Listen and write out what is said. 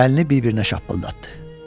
Əlini bir-birinə şappıldatdı.